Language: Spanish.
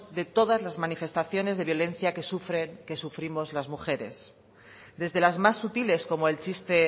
de todas las manifestaciones de violencia que sufrimos las mujeres desde las más sutiles como el chiste